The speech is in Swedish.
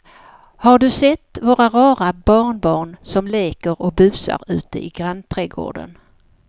Har du sett våra rara barnbarn som leker och busar ute i grannträdgården!